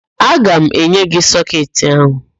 Aga m enye gị sọketị áhụ̀.